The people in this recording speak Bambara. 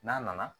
N'a nana